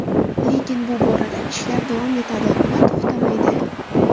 Lekin bu borada ishlar davom etadi va to‘xtamaydi.